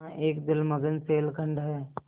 यहाँ एक जलमग्न शैलखंड है